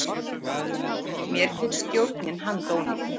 Mér finnst stjórnin handónýt